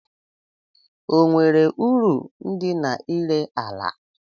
O nwere uru dị n'ire ala?